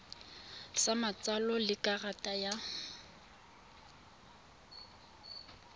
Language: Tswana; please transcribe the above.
sa matsalo le karata ya